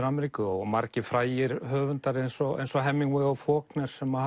Ameríku og margir frægir höfundar eins og eins og Hemingway og Faulkner sem